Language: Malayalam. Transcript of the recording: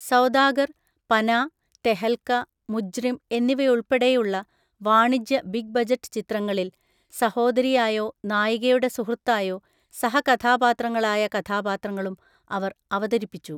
സൗദാഗർ, പനാ, തെഹൽക, മുജ്രിം എന്നിവയുൾപ്പെടെയുള്ള വാണിജ്യ ബിഗ് ബജറ്റ് ചിത്രങ്ങളിൽ സഹോദരിയായോ നായികയുടെ സുഹൃത്തായോ സഹകഥാപാത്രങ്ങളായ കഥാപാത്രങ്ങളും അവർ അവതരിപ്പിച്ചു.